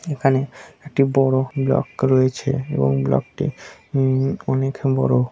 এখানে একটি বড়ো ব্লক রয়েছে এবং ব্লক -টি উম অনেক বড়ো।